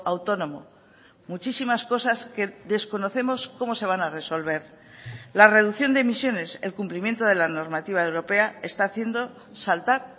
autónomo muchísimas cosas que desconocemos cómo se van a resolver la reducción de emisiones el cumplimiento de la normativa europea está haciendo saltar